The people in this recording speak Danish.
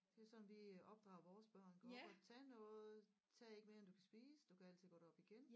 Det er sådan vi opdrager vores børn gå op og tag noget tag ikke mere end du kan spise du kan altid gå derop igen